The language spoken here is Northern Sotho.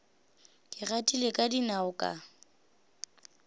ke gatile ka dinao ka